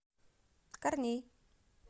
корней